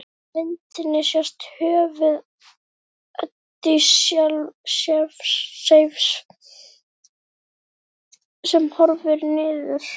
Á myndinni sést höfuð Ódysseifs sem horfir niður.